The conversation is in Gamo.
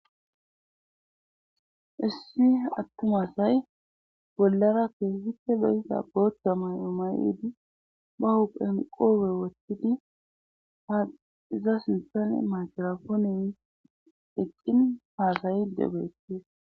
issu attumasay bollara keesite leysa goottamay omaydi ba huphenqoowe wottidi ha iza sinthane makrafoonen eqqin haasayi debeette